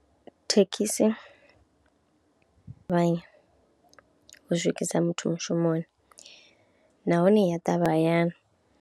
Thekhisi vha, u swikisa muthu mushumoni nahone ya ṱavhanya hayani.